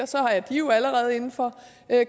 så er de jo allerede inden for